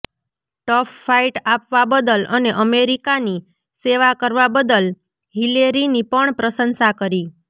tough fight આપવા બદલ અને અમેરિકાની સેવા કરવા બદલ હિલેરીની પણ પ્રશંસા કરી